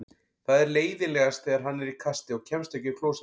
Það er leiðinlegast þegar hann er í kasti og kemst ekki á klósettið.